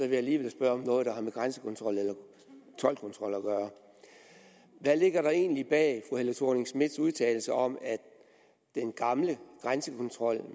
jeg alligevel spørge om noget der har med grænsekontrol eller toldkontrol at gøre hvad ligger der egentlig bag fru helle thorning schmidts udtalelse om at den gamle grænsekontrol